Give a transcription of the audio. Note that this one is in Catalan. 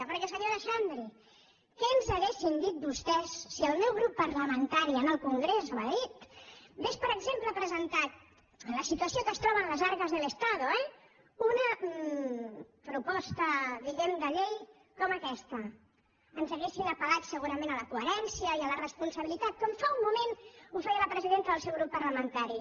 perquè senyora xandri què ens haurien dit vostès si el meu grup parlamentari en el congrés a madrid ha·gués per exemple presentat en la situació en què es tro·ben las arcas del estado eh una proposta diguem·ne de llei com aquesta ens haurien apella coherència i a la responsabilitat com fa un moment ho feia la presidenta del seu grup parlamentari